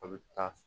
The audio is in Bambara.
A bɛ taa